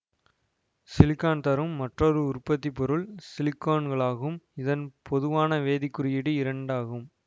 silicon தரும் மற்றொரு உற்பத்தி பொருள் சிலிகோன்களாகும் இதன் பொதுவான வேதிக் குறியீடு இரண்டு ஆகும்